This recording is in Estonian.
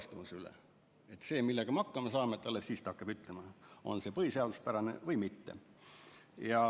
see, millega me hakkama saame, alles siis ta hakkab ütlema, on see põhiseaduspärane või mitte.